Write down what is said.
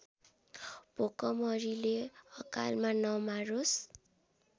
भोकमरीले अकालमा नमारोस्